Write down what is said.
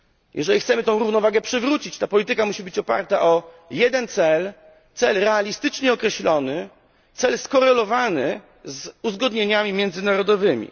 Jeżeli chcemy tę równowagę przywrócić, ta polityka musi być oparta o jeden cel cel realistycznie określony, skorelowany z uzgodnieniami międzynarodowymi.